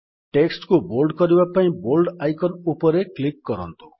text କୁ bold କରିବା ପାଇଁ ବୋଲ୍ଡ ଆଇକନ୍ ଉପରେ କ୍ଲିକ୍ କରନ୍ତୁ